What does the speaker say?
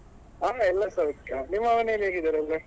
ಹಾ ಎಲ್ಲಾ ಸೌಖ್ಯ ನಿಮ್ಮ ಮನೇಲಿ ಹೇಗಿದ್ದಾರೆ ಎಲ್ಲ?